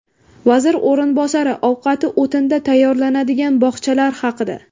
Vazir o‘rinbosari ovqati o‘tinda tayyorlanadigan bog‘chalar haqida.